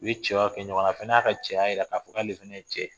U ye cɛyaw kɛ ɲɔgɔn na, a fana y'a ka cɛya jira ka fɔ k'ale fana ye cɛ de ye.